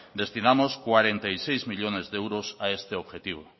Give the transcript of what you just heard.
destinamos cuarenta y seis millónes de euros a este objetivo